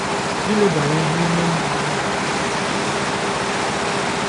Ilebara ihe ime mmụọ anya nke ukwuu ga-eweta ngọzi dị ukwuu.